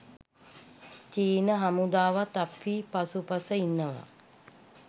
චීන හමුදාවත් අපි පසුපස ඉන්නවා.